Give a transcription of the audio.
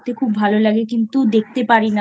খুব ভালো লাগে কিন্তু দেখতে পারি না।